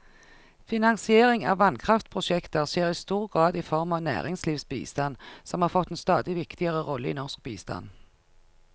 Finansiering av vannkraftprosjekter skjer i stor grad i form av næringslivsbistand, som har fått en stadig viktigere rolle i norsk bistand.